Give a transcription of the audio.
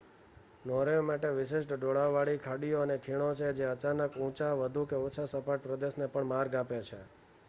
Norway માટે વિશિષ્ટ ઢોળાવવાળી ખાડીઓ અને ખીણો છે જે અચાનક ઊંચા વધુ કે ઓછા સપાટ પ્રદેશને પણ માર્ગ આપે છે